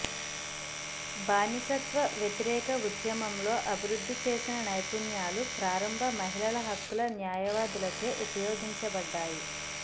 బానిసత్వ వ్యతిరేక ఉద్యమంలో అభివృద్ధి చేసిన నైపుణ్యాలు ప్రారంభ మహిళల హక్కుల న్యాయవాదులచే ఉపయోగించబడ్డాయి